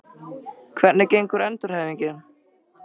Hvernig gengur endurhæfingin?